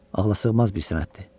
Ağlasığmaz bir sənətdir.